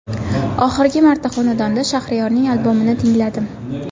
Oxirgi marta xonanda Shahriyorning albomini tingladim.